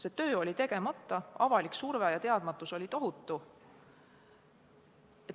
See töö oli tegemata, avalik surve ja teadmatus olid tohutud.